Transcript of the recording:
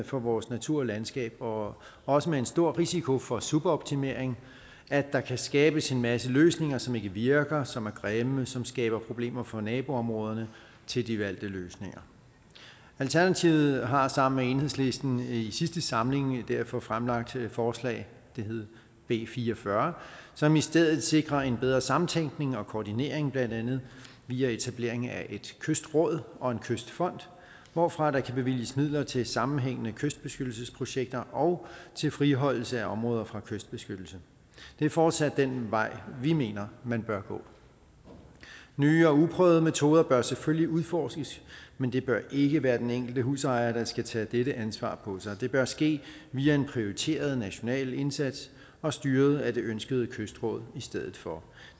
for vores natur og landskab og også med en stor risiko for suboptimering at der kan skabes en masse løsninger som ikke virker som er grimme som skaber problemer for naboområderne til de valgte løsninger alternativet har sammen med enhedslisten i sidste samling derfor fremsat forslag det hed b fire og fyrre som i stedet sikrer en bedre sammentænkning og koordinering blandt andet via etablering af et kystråd og en kystfond hvorfra der kan bevilges midler til sammenhængende kystbeskyttelsesprojekter og til friholdelse af områder fra kystbeskyttelse det er fortsat den vej vi mener man bør gå nye og uprøvede metoder bør selvfølgelig udforskes men det bør ikke være den enkelte husejer der skal tage dette ansvar på sig det bør ske via en prioriteret national indsats og styret af det ønskede kystråd i stedet for